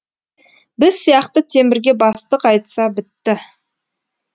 біз сияқты темірге бастық айтса бітті